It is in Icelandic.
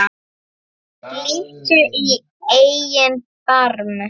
Líttu í eigin barm